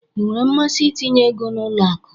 Ịnwere mmasị itinye égo n'ụlọ akụ?